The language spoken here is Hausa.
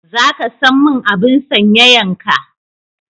Za ka san mun abun sanyayan ka?